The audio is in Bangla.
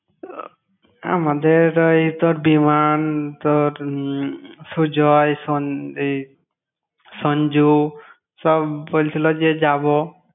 ও আমাদের ওই তোর বিমান, তোর উম সুজয়, সন~ এই সঞ্জু, সব বলছিলো যে যাবো।